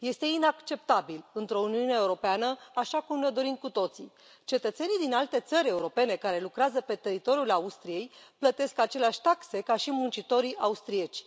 Este inacceptabil, într o Uniune Europeană așa cum ne o dorim cu toții. Cetățenii din alte țări europene care lucrează pe teritoriul Austriei plătesc aceleași taxe ca și muncitorii austrieci.